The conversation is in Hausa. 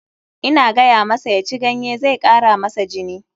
Ina gayamasa ya ci ganye, zai kara masa jini.